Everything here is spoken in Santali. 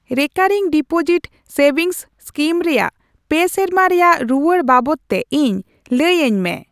ᱨᱮᱠᱟᱨᱤᱝ ᱰᱤᱯᱳᱡᱤᱴ ᱥᱮᱵᱷᱤᱝᱥ ᱥᱠᱤᱢ ᱨᱮᱭᱟᱜ ᱯᱮ ᱥᱮᱨᱢᱟ ᱨᱮᱭᱟᱜ ᱨᱩᱣᱟᱹᱲ ᱵᱟᱵᱚᱫ ᱛᱮ ᱤᱧ ᱞᱟᱹᱭ ᱟᱹᱧ ᱢᱮ ᱾